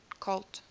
colt